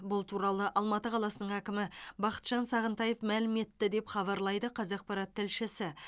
бұл туралы алматы қаласының әкімі бақытжан сағынтаев мәлім етті деп хабарлайды қазақпарат тілшісі